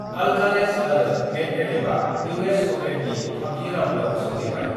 Alcaraz आरो मदभदभआ US अपेननि थामथि राउन्डआव सौहैबाय